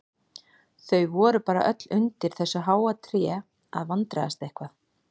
Þau voru bara öll undir þessu háa tré að vandræðast eitthvað.